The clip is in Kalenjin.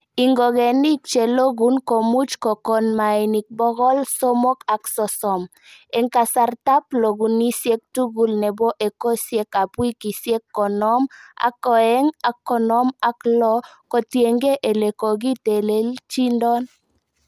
Ingogenik che loguk komuch kokon mainik bogol somok ak sosom, en kasartab logunisiet tugul nebo ekosiek ab wikisiek konoom ak oeng ak konoom ak loo kotienge ele kokitelelchindon.